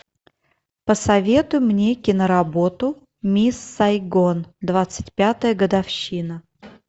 посоветуй мне киноработу мисс сайгон двадцать пятая годовщина